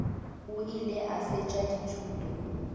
o ile a fetša dithuto